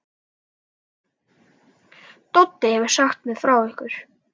Doddi hefur sagt mér frá ykkur.